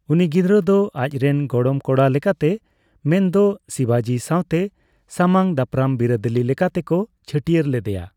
ᱩᱱᱤ ᱜᱤᱫᱽᱨᱟᱹ ᱫᱚ ᱟᱪ ᱨᱮᱱ ᱜᱚᱲᱚᱢ ᱠᱚᱲᱟ ᱞᱮᱠᱟᱛᱮ, ᱢᱮᱱᱫᱚ ᱥᱤᱵᱟᱡᱤ ᱥᱟᱸᱣᱛᱮ ᱥᱟᱢᱟᱝ ᱫᱟᱯᱨᱟᱝ ᱵᱤᱨᱟᱹᱫᱟᱹᱞᱤ ᱞᱮᱠᱟᱛᱮ ᱠᱚ ᱪᱷᱟᱹᱴᱭᱟᱹᱨ ᱞᱮᱫᱮᱭᱟ ᱾